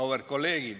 Auväärt kolleegid!